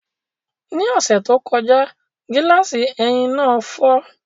Ní ọ̀sẹ̀ tó kọjá, gíláàsì ẹ̀yìn náà fọ́